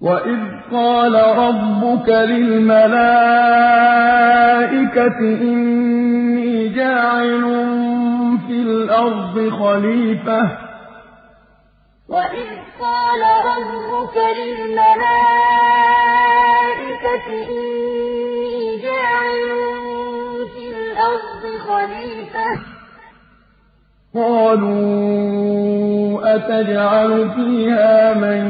وَإِذْ قَالَ رَبُّكَ لِلْمَلَائِكَةِ إِنِّي جَاعِلٌ فِي الْأَرْضِ خَلِيفَةً ۖ قَالُوا أَتَجْعَلُ فِيهَا مَن